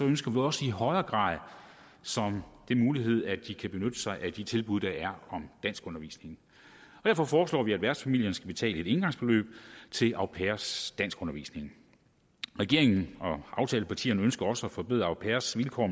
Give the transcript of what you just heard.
ønsker vi også i højere grad som en mulighed at de kan benytte sig af de tilbud der er om danskundervisning derfor foreslår vi at værtsfamilierne skal betale et engangsbeløb til au pairers danskundervisning regeringen og aftalepartierne ønsker også at forbedre au pairers vilkår